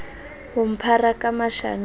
ho mphara ka mashano a